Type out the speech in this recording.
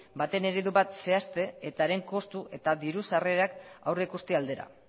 baten eredu bat zehazten eta haren kostu eta diru sarrerak aurreikusi aldera